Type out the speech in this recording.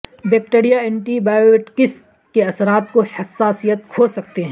bacteria antibiotics کے اثرات کو حساسیت کھو سکتے ہیں